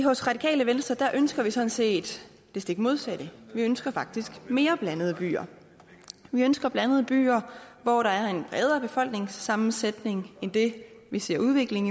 hos radikale venstre ønsker vi sådan set det stik modsatte vi ønsker faktisk mere blandede byer vi ønsker blandede byer hvor der er en bredere befolkningssammensætning end det vi ser en udvikling